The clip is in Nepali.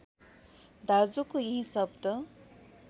दाजुको यही शब्द